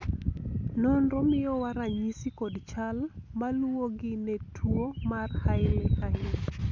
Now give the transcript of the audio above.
nonro miyowa ranyisi kod chal maluwogi ne tuo mar hailey hailey